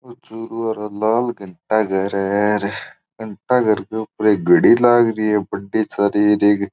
ओ चूरू आरो लाल घंटा घर है घंटा घर के ऊपर एक घडी लागरी है बड़ी सारी एक --